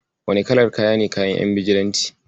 Wane kalar kaya ne kayan ƴan Bijilanti?